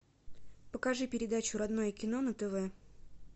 покажи передачу родное кино на тв